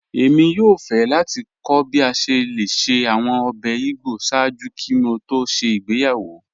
Ẹ̀mi yòò fẹ́ láti kọ̀ bí a ṣẹ́ lẹ̀ ṣẹ́ awọn ọ̀bẹ̀ ìgbọ́ sáàjú kí mò tó ṣẹ́ ìgbéyàwó